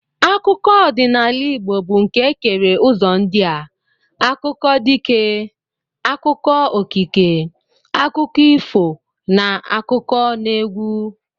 Akụkọ ọdịnala Igbo bụ nke e kere ụzọ ndị a: akụkọ dike, akụkọ okike, akụkọ ifo na n'akụkọneegwu